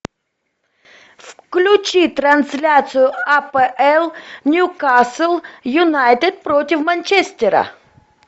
включи трансляцию апл ньюкасл юнайтед против манчестера